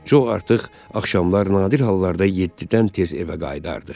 Co artıq axşamlar nadir hallarda yeddidən tez evə qayıdardı.